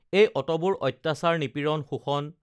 এই অতবোৰ অত্যাচাৰ নিপীড়ণ শোষণ